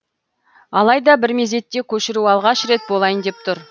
алайда бір мезетте көшіру алғаш рет болайын деп тұр